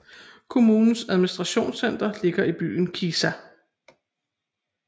Kommunens administrationscenter ligger i byen Kisa